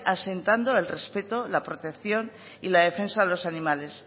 asentando el respeto la protección y la defensa de los animales